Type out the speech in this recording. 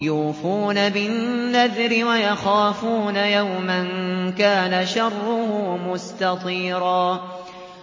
يُوفُونَ بِالنَّذْرِ وَيَخَافُونَ يَوْمًا كَانَ شَرُّهُ مُسْتَطِيرًا